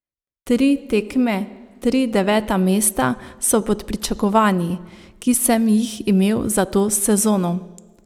Tri tekme, tri deveta mesta so pod pričakovanji, ki sem jih imel za to sezono.